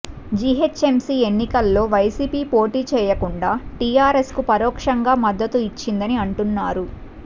GHMC ఎన్నికల్లో YCP పోటీ చేయకుండా టీఆర్ఎస్ కు పరోక్షంగా మద్దతు ఇచ్చిందని అంటున్నారు